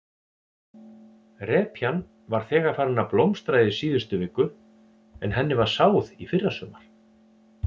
Repjan var þegar farin að blómstra í síðustu viku en henni var sáð í fyrrasumar?